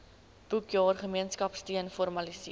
boekjaar gemeenskapsteun formaliseer